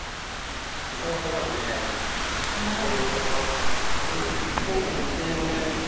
ଶୀତ ମାସ ତ ବଢିଆ ସବୁ ଯାକ ବଢିଆ କହିବୁ କି ନାଇଁ ଗୋଟେ ମାନେ